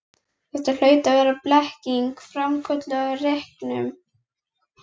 Þetta hlaut að vera blekking, framkölluð af reyknum.